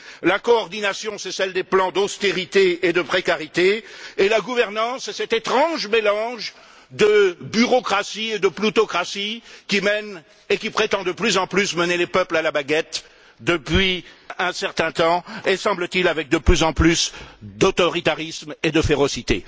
La coordination, c'est celle des plans d'austérité et de précarité, et la gouvernance, c'est cet étrange mélange de bureaucratie et de ploutocratie qui mène et qui prétend de plus en plus mener les peuples à la baguette depuis un certain temps et, semble t il, avec de plus en plus d'autoritarisme et de férocité.